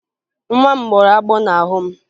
Nwa m gbọrọ agbọ n'ahụ m